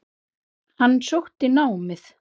Hann sótti námið.